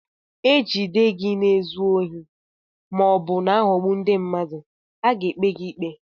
E jide gị na-ezu ohi ma ọ bụ na-aghọgbu ndị mmadụ, a ga-ekpe gị ikpe.